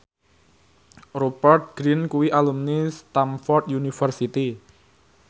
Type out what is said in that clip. Rupert Grin kuwi alumni Stamford University